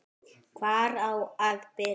Hvar á að byrja?